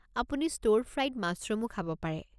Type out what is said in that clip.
আপুনি ষ্টৰ-ফ্ৰাইড মাছৰুমো খাব পাৰে।